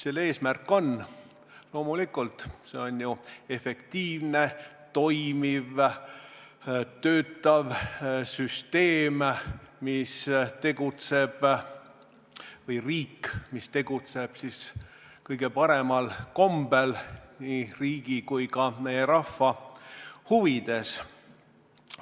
Selle eesmärk on, loomulikult, ju efektiivne, toimiv, töötav riik või süsteem, mis tegutseb kõige paremal kombel nii riigi kui ka meie rahva huvides.